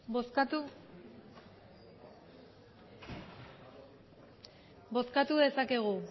bozkatu dezakegu